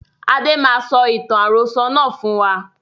Adé máa sọ ìtàn àròsọ̀ náà fún wa